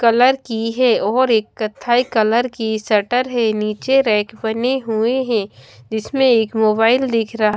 colour की है और एक कत्थई कलर की शटर है नीचे रैक बने हुए हैं जीसमें एक मोबाइल दिख रहा --